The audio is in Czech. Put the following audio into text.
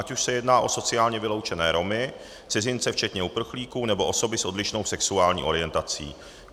Ať už se jedná o sociálně vyloučené Romy, cizince včetně uprchlíků nebo osoby s odlišnou sexuální orientací.